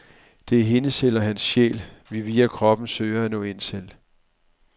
Det er hendes eller hans sjæl, vi via kroppen søger at nå ind til.